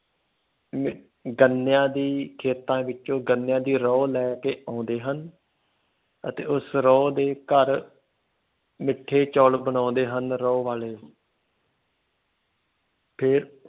ਗੰਨਿਆਂ ਦੀ ਖੇਤਾਂ ਵਿੱਚੋਂ ਗੰਨੇ ਦੀ ਰੋਹ ਲੈ ਕੇ ਆਉਂਦੇ ਹਨ ਅਤੇ ਉਸ ਰੋਹ ਦੇ ਘਰ ਮਿੱਠੇ ਚੋਲ ਬਣਾਉਂਦੇ ਹਨ ਰੋਹ ਵਾਲੇ ਫਿਰ